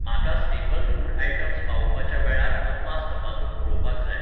म्हाका staple food items पावोवपाच्या वेळाचो अदमास तपासून पळोवपाक जाय.